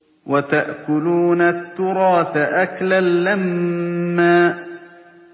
وَتَأْكُلُونَ التُّرَاثَ أَكْلًا لَّمًّا